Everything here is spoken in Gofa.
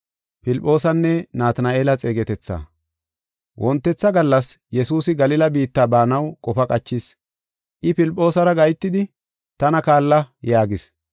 Wontetha gallas Yesuusi Galila biitta baanaw qofa qachis. I Filphoosara gahetidi, “Tana kaalla!” yaagis.